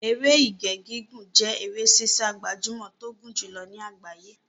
Eré Ìje gígùn jẹ́ eré sísá gbajúmọ̀ tó gùn jùlọ ní àgbáyé.